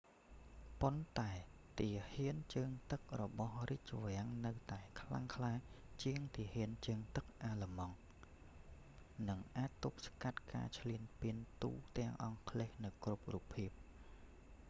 ប៉ន្តែទាហានជើងទឹករបស់​រាជវាំងនៅតែខ្លាំងក្លា​ជាងទាហាន​ជើងទឹកអាឡឺម៉ង់ kriegsmarine” និងអាចទប់ស្កាត់​ការឈ្លានពានទូទាំងអង់គ្លេសនៅគ្រប់រូបភាព។